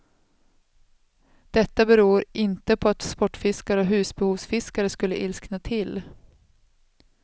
Detta beror inte på att sportfiskare och husbehovsfiskare skulle ilskna till.